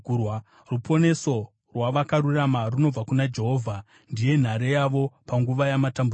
Ruponeso rwavakarurama runobva kuna Jehovha; ndiye nhare yavo panguva yamatambudziko.